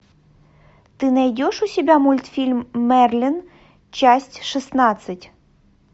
ты найдешь у себя мультфильм мерлин часть шестнадцать